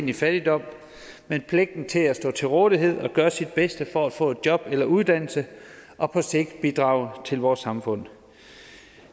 i fattigdom men pligten til at stå til rådighed og gøre sit bedste for at få job eller uddannelse og på sigt bidrage til vores samfund